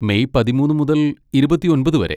May പതിമൂന്ന് മുതൽ ഇരുപത്തിയൊൻപത് വരെ.